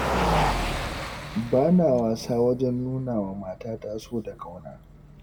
Ba na wasa wajen nuna wa matata so da ƙauna.